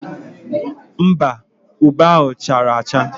Mba, ube ahụ chara acha.